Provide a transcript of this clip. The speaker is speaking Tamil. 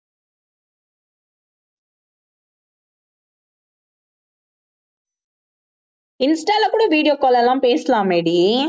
insta ல கூட video call லாம் பேசலாமேடி